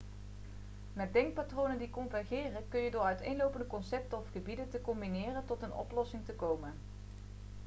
met denkpatronen die convergeren kun je door uiteenlopende concepten of gebieden te combineren tot een oplossing te komen